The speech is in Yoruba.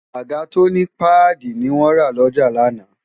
àga tó ní páàdì ni wọ́n rà lọ́jà lánàá